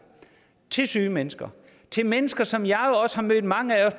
syge mennesker mennesker som jeg har mødt mange af